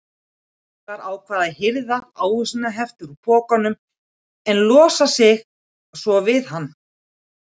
Sævar ákvað að hirða ávísanahefti úr pokanum en losa sig svo við hann.